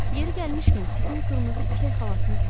Yeri gəlmişkən, sizin qırmızı ipək xalatınız var?